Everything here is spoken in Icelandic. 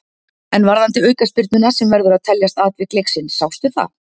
En varðandi aukaspyrnuna sem verður að teljast atvik leiksins, sástu það?